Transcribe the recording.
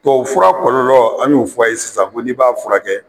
Tubabufura kɔlɔlɔ, an y'o f'a ye sisan, ko n'i b'a furakɛ,